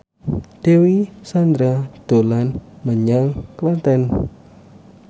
Dewi Sandra dolan menyang Klaten